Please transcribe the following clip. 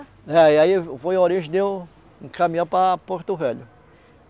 É, e aí foi a origem, de eu caminhar para Porto Velho.